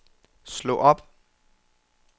slå op